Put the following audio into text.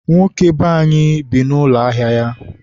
nwoke be anyị bi n'ụlọ ahịa ya.